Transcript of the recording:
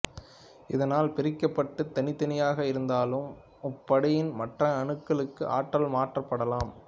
இதனால் பிரிக்கப்பட்டு தனித்தனியாக இருந்தாலும் முப்படியின் மற்ற அணுக்களுக்கு ஆற்றல் மாற்றப்படலாம்